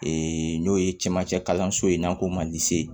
n'o ye camancɛ kalanso ye n'an ko ma